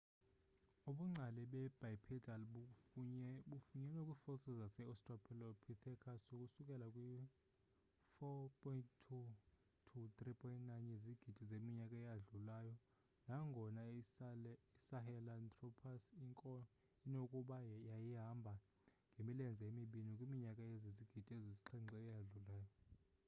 ubungcali bebipedal bufunyenwe kwii-fossil zase-australopithecus ukusuka kwi-4.2-3.9 yezigidi zeminyaka eyadlulayo nangona isahelanthropus inokuba yayihamba ngemilenze emibini kwiminyaka ezizigidi ezisixhenxe eyadlulayo